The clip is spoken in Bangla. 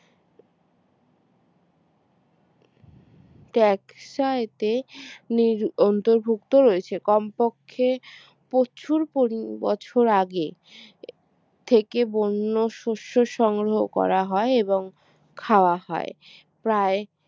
ট্যাক্স আইতে নির অন্তর্ভুক্ত রয়েছে কমপক্ষে প্রচুর পরি বছর আগে থেকে বন্যশস্য সংগ্রহ করা হয় এবং খাওয়া হয়। প্রায়